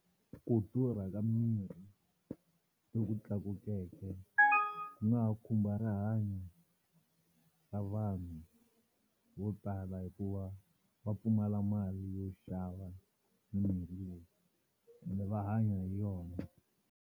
Ku durha ka mirhi loku tlakukeke ku nga ha khumba rihanyo ra vanhu vo tala hikuva va pfumala mali yo xava mimirhi leyi ende va hanya hi yona.